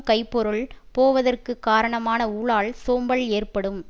கைப்பொருள் போவதற்க்கு காரணமான ஊழால் சோம்பல் ஏற்படும்